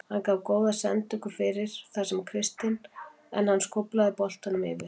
Hann gaf góða sendingu fyrir fyrir þar sem Kristinn var en hann skóflaði boltanum yfir.